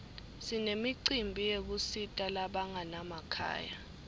sinemicimbi yekusita labanganamakhaya